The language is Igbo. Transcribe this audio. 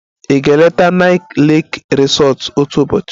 Ị ga-eleta Nike lake resort otu ụbọchị?